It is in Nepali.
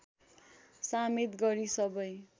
समेत गरी सबै